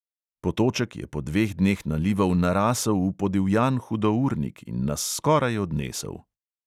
Potoček je po dveh dneh nalivov narasel v podivjan hudournik in nas skoraj odnesel.